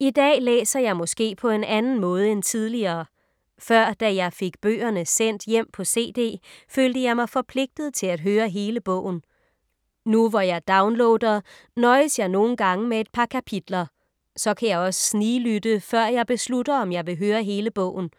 I dag læser jeg måske på en anden måde end tidligere. Før da jeg fik bøgerne sendt hjem på CD, følte jeg mig forpligtet til at høre hele bogen. Nu hvor jeg downloader, nøjes jeg nogle gange med et par kapitler. Så kan jeg også sniglytte, før jeg beslutter om jeg vil høre hele bogen.